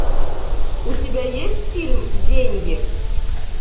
у тебя есть фильм деньги